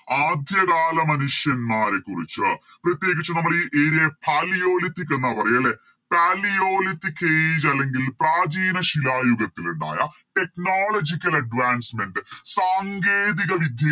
ആദ്യകാല മനുഷ്യന്മാരെക്കുറിച്ച് പ്രത്യേകിച്ച് നമ്മള് ഈ Area Palaeolithic എന്ന പറയാ ലെ Palaeolithic age അല്ലെങ്കിൽ പ്രാചീനശിലായുഗത്തിൽ ഇണ്ടായ Technological advancement സാങ്കേതിക വിദ്യ